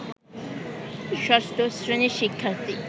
ষষ্ঠ শ্রেণীর শিক্ষার্থী